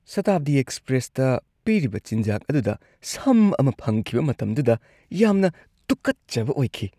ꯁꯥꯇꯥꯕꯗꯤ ꯑꯦꯛꯁꯄ꯭ꯔꯦꯁꯇ ꯄꯤꯔꯤꯕ ꯆꯤꯟꯖꯥꯛ ꯑꯗꯨꯗ ꯁꯝ ꯑꯃ ꯐꯪꯈꯤꯕ ꯃꯇꯝꯗꯨꯗ ꯌꯥꯝꯅ ꯇꯨꯀꯠꯆꯕ ꯑꯣꯏꯈꯤ꯫